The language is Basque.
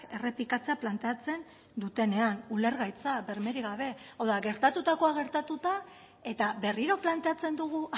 errepikatzea planteatzen dutenean ulergaitza bermerik gabe hau da gertatutakoa gertatuta eta berriro planteatzen dugu